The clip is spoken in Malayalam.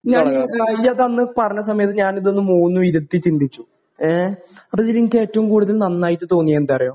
ഞാന് നീയ്യതന്ന് പറഞ്ഞ സമയത്ത് ഞാനിതൊന്ന് മൂന്നും ഇരുത്തി ചിന്തിച്ചു. ഏ അപ്പൊ ഇതിൽ എനിക്കേറ്റവും കൂടുതൽ നന്നായിട്ട് തോന്നിയത് എന്താന്നറിയോ?